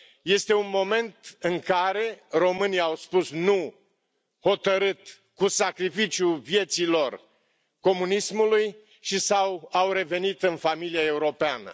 Este un moment în care românii au spus nu hotărât, cu sacrificiul vieții lor, comunismului și au revenit în familia europeană.